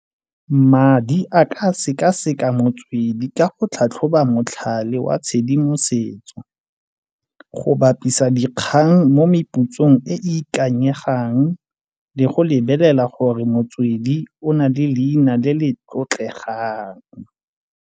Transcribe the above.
Madi a ka sekaseka motswedi ka go tlhatlhoba motlhale wa tshedimosetso, go bapisa dikgang mo mepusong e e ikanyegang le go lebelela gore motswedi o na le leina le le tlotlegang.